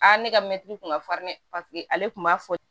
ne ka mɛtiri kun ka farin dɛ paseke ale tun b'a fɔ